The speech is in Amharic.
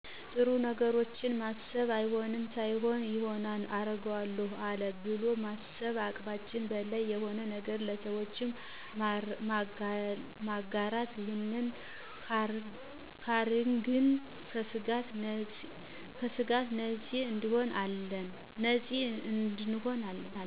ጥሩ ነገሮችን ማሰብ አይሆንም ሳይሆን ይሆናል አረገው አለው ብሎማሰብ ከአቅማችን በላይ የሆነን ነገረ ለሰወች ማጋራት ይህንን ካረግን ከስጋት ነፂ እንሆን አለን